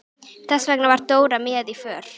Þess vegna var Dóra með í för.